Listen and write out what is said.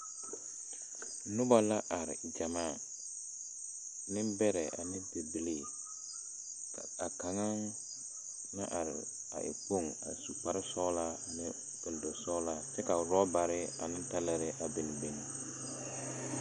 Nobɔ laare gyamaa, nembɛrɛ ane bibilii. Ka a kaŋaŋ na are a e kpoŋ a su kparesɔgelaa ane kpeldasɔgelaa kyɛ rɔbare ane talarɛɛ a biŋ biŋ.